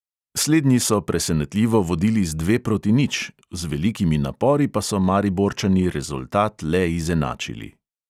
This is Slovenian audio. Slednji so presenetljivo vodili z dve proti nič, z velikimi napori pa so mariborčani rezultat le izenačili.